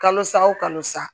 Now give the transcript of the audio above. Kalosa wo kalo sa